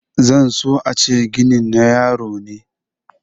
zan so a ce ginin na yaro ne